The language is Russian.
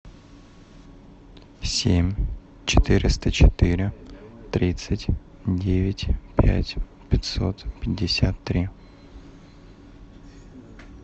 семь четыреста четыре тридцать девять пять пятьсот пятьдесят три